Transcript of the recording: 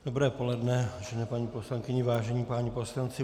Dobré poledne, vážené paní poslankyně, vážení páni poslanci.